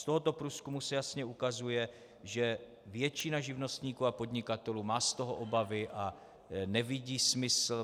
Z tohoto průzkumu se jasně ukazuje, že většina živnostníků a podnikatelů má z toho obavy a nevidí smysl.